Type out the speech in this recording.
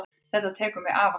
Þetta tekur mig afar sárt.